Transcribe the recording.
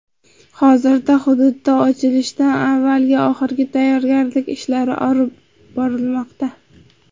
Hozirda hududda ochilishdan avvalgi oxirgi tayyorgarlik ishlari olib borilmoqda.